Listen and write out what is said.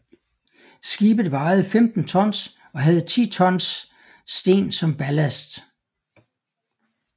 Skibet vejede 15 tons og havde 10 tons sten som ballast